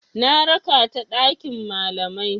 Na raka ta ɗakin malamai.